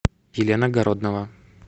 елена городнова